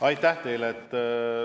Aitäh teile!